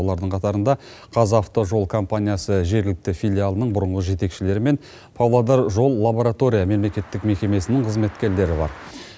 олардың қатарында қазавтожол компаниясы жергілікті филиалының бұрынғы жетекшілері мен павлодар жол лаборатория мемлекеттік мекемесінің қызметкерлері бар